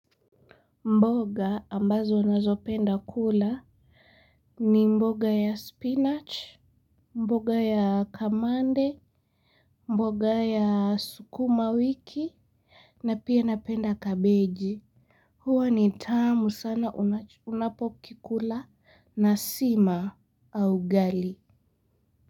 Mboga ambazo nazopenda kula ni mboga ya spinach mboga ya kamande mboga ya sukuma wiki na pia napenda cabeji. Huwa ni tamu sana unapokikula na sima au ugali.